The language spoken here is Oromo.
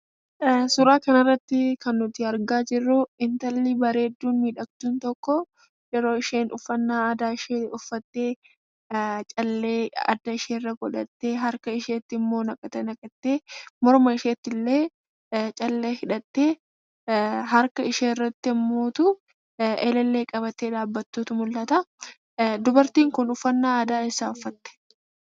Suuraa kanarratti kan nuti argaa jirru, intalli bareedduu miidhagduun tokko yeroo isheen uffannaa aadaa ishee uffattee, callee adda isheerra godhattee, harka isheettimmoo naqata naqattee, morma isheettillee callee hidhattee harka isheerratti immoo elellee qabattee dhaabbattutu mul'ata. Dubartiin kun uffannaa aadaa eessaa uffattee?